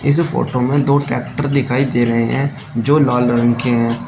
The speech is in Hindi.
इस फोटो में दो ट्रैक्टर दिखाई दे रहे हैं जो लाल रंग के हैं।